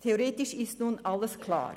Theoretisch ist nun alles klar.